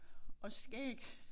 Og skæg